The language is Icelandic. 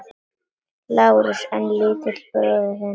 LÁRUS: En litli bróðir þinn?